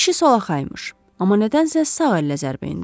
Kişi solaxay imiş, amma nədənsə sağ əllə zərbə endirib.